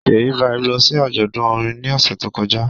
Ṣèyí Vibez lọ sí àjọ̀dún orin ní ọ̀sẹ̀ tó kọjá